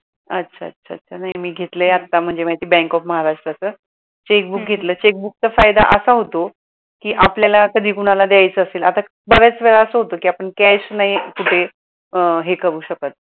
अच्छा अच्छा अच्छा नाही मी घेतलय आत्ता म्हणजे bank of महाराष्ट्र च checkbook घेतल checkbook चा फायदा असा होतो कि आपल्याला कधी कुणाला द्यायचं असेल आता बरेच वेळा असं होतं कि आपण cash नाही कुठे अं हे करू शकत